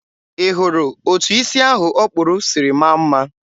ị hụrụ etụ isi ahụ ọ kpụrụ siri maa mma?